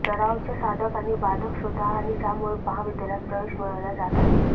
सरावच्या साधक आणि बाधक शोधा आणि ज्यामुळे महाविद्यालयात प्रवेश मिळवल्या जात आहेत